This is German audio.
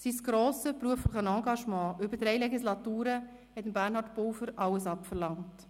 Sein grosses berufliches Engagement über drei Legislaturen verlangte Bernhard Pulver alles ab.